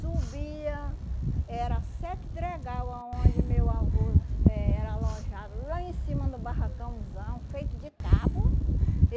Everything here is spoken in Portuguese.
Subia, era sete dregau aonde meu avô eh era alojado, lá em cima do barracãozão, feito de tábua.